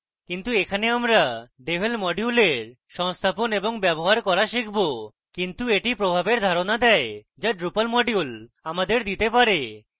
কিন্তু এখানে আমরা devel module সংস্থাপন এবং ব্যবহার করা শিখব এটি কিছু প্রভাবের ধারণা দেয় যা drupal module আমাদের দিতে পারে